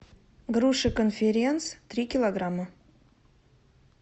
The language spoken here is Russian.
груши конференц три килограмма